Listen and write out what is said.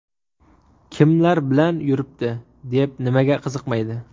Kimlar bilan yuribdi?”, deb nimaga qiziqmaydi?